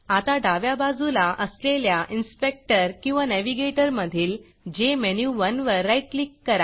आता डाव्या बाजूला असलेल्या Inspectorइनस्पेक्टर किंवा navigatorनॅविगेटर मधील JMenu1जेमेनुवन वर राईट क्लिक करा